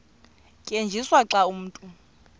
tyenziswa xa umntu